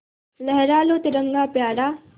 लहरा लो तिरंगा प्यारा